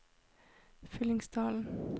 Fyllingsdalen